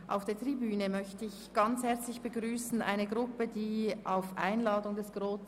Ich möchte noch ganz herzlich eine Gruppe auf der Tribüne begrüssen.